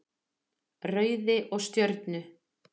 Rauði og Stjörnu.